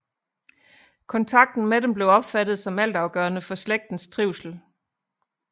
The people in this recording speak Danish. Kontakten med dem blev opfattet som altafgørende for slægtens trivsel